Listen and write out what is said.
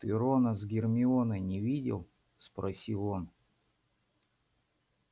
ты рона с гермионой не видел спросил он